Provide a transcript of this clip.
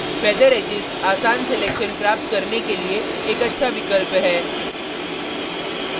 feather edges आसान selections प्राप्त करने के लिए एक अच्छा विकल्प है